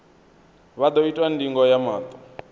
vha ḓo itwa ndingo ya maṱo